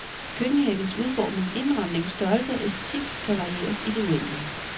Køkkenhavens udformning, indramning, størrelse og æstetik kan varieres i det uendelige.